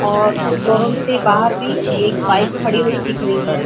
और शोरूम से बाहर भी एक बाइक खड़ी हुई दिख रही है।